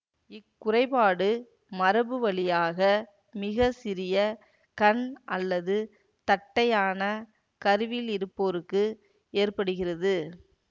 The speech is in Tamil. இக்குறைபாடு மரபுவழியாக மிக சிறிய கண் அல்லது தட்டையான கருவிழிருப்போருக்கு ஏற்படுகிறது